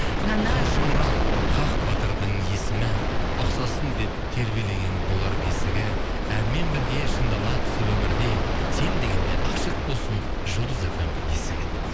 қажымұрат хақ батырдың есімі ұқсасын деп тербелеген болар бесігі әнмен бірге шыңдала түс өмірде сен дегенде ашық болсын жұлдыз фм есігі дейді